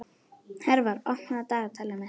Hervar, opnaðu dagatalið mitt.